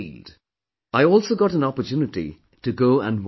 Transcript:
I also got an opportunity to go and watch a match